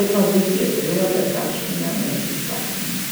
le paziti je treba, da kakšnega ne iztaknemo.